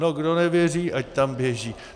No, kdo nevěří, ať tam běží.